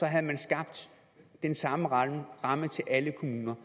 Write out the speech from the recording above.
havde man skabt den samme ramme for alle kommuner